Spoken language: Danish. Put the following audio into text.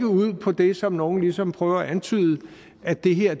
ud på det som nogle ligesom prøver at antyde at det her